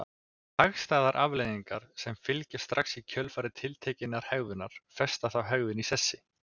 Hagstæðar afleiðingar sem fylgja strax í kjölfar tiltekinnar hegðunar festa þá hegðun í sessi.